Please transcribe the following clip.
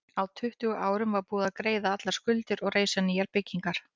Á tuttugu árum var búið að greiða allar skuldir og reisa nýjar byggingar.